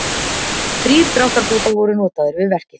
Þrír dráttarbátar voru notaðir við verkið